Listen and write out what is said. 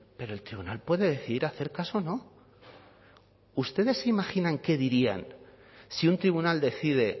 pero el tribunal puede decidir hacer caso o no ustedes se imaginan qué dirían si un tribunal decide